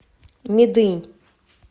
медынь